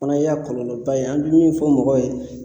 Fana y'a kɔlɔlɔba ye .An be min fɔ mɔgɔ ye